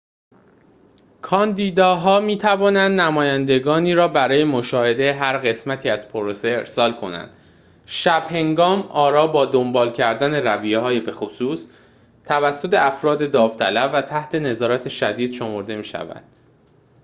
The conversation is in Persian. کاندیداها می‌توانند نمایندگانی را برای مشاهده هر قسمتی از پروسه ارسال کنند شب‌هنگام آراء با دنبال کردن رویه‌های بخصوص توسط افراد داوطلب و تحت نظارت شدید شمرده می‌شوند